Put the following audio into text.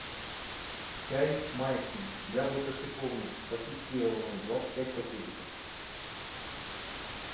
чай майский яблоко шиповник пакетированный двадцать пять пакетиков